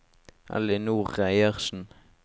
Ellinor Reiersen